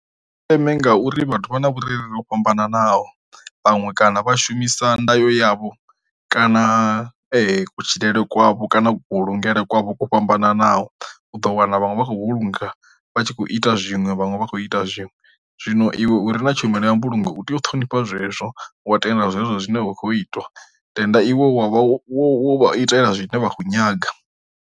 Ndeme ngauri vhathu vha na vhurereli vho fhambananaho vhanwe kana vha shumisa nda yo yavho kana kutshilele kwavho kana vhu kuvhulungele kwavho kwo fhambananaho, u ḓo wana vhaṅwe vha khou vhulunga vha tshi kho ita zwinwe vhaṅwe vha khou ita zwinwe. Zwino iwe uri na tshumelo ya mbulungo u tea u ṱhonifha zwezwo wa tenda zwezwo zwine zwa khou itwa tenda i wavho itela zwine vha kho nyaga.